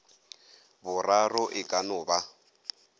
boraro e ka no ba